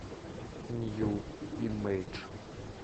нью имейдж